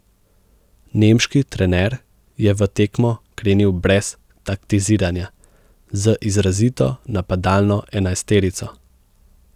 Nemški trener je v tekmo krenil brez taktiziranja, z izrazito napadalno enajsterico.